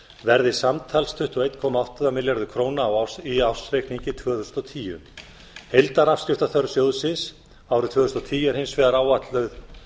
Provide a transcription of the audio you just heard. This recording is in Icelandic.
verði samtals tuttugu og einn komma átta milljarður króna í ársreikningi tvö þúsund og tíu heildarafskriftaþörf sjóðsins árið tvö þúsund og tíu er hins vegar áætluð